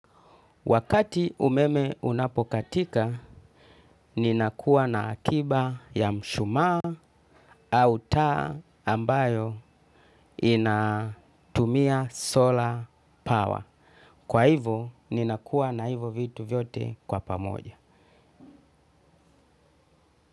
Wakati umeme unapokatika, ninakuwa na akiba ya mshumaa au taa ambayo inatumia solar power. Kwa hivo, ninakuwa na hivo vitu vyote kwa pamoja.